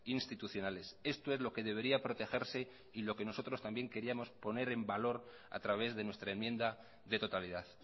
institucionales esto es lo que debería protegerse y lo que nosotros también queríamos poner en valor a través de nuestra enmienda de totalidad